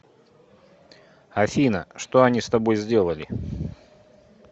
афина что они с тобой сделали